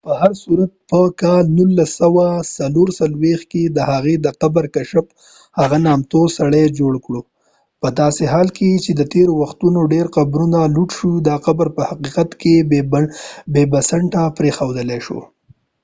په هرصورت، په ۱۹۲۲ کې د هغه د قبر کشف هغه نامتو سړى جوړ کړو. پداسې حال کې چې د تیرو وختونو ډیر قبرونه لوټ شوي، دا قبر په حقیقت کې بې بنسټه پريښود شو